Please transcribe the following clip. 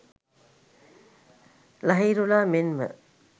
ලහිරුලා මෙන්ම